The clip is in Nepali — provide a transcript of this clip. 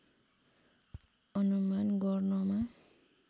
अनुमान गर्नमा